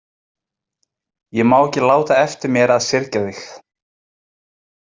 Ég má ekki láta eftir mér að syrgja þig.